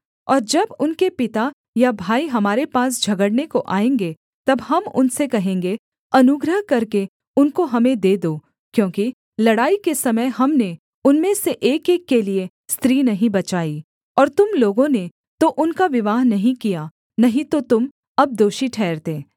और जब उनके पिता या भाई हमारे पास झगड़ने को आएँगे तब हम उनसे कहेंगे अनुग्रह करके उनको हमें दे दो क्योंकि लड़ाई के समय हमने उनमें से एकएक के लिये स्त्री नहीं बचाई और तुम लोगों ने तो उनका विवाह नहीं किया नहीं तो तुम अब दोषी ठहरते